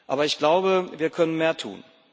Aber ich glaube, wir können mehr tun.